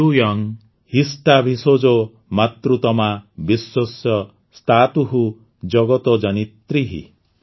ୟୂୟଂ ହିଷ୍ଠା ଭିଷଜୋ ମାତୃତମା ବିଶ୍ୱସ୍ୟ ସ୍ଥାତୁଃ ଜଗତୋ ଜନିତ୍ରୀଃ